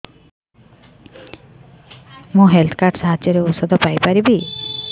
ମୁଁ health card ସାହାଯ୍ୟରେ ଔଷଧ ପାଇ ପାରିବି